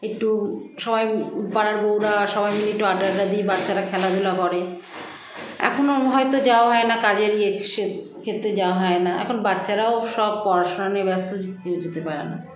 একটু সবাই পাড়ার বৌরা সবাই মিলে একটু আড্ডা টাড্ডা দিই বাচ্চারা খেলাধুলা করে এখনো হয়তো যাওয়া হয়না কাজের ইয়ে ইসের ক্ষেত্রে যাওয়া হয়না এখন বাচ্চারাও সব পড়াশুনা নিয়ে ব্যস্ত যে কেউ যেতে পারেনা